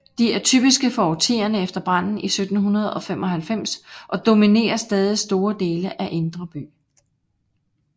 De er typiske for årtierne efter branden i 1795 og dominerer stadig store dele af Indre By